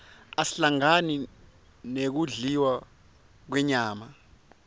asihlangani nekudliwa kwenyama